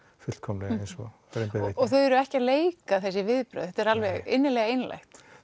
fullkomlega eins og raun ber vitni og þau eru ekki að leika þessi viðbrögð þetta er alveg innilega einlægt